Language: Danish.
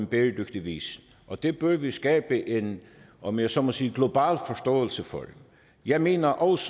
bæredygtig vis det bør vi skabe en om jeg så må sige global forståelse for jeg mener også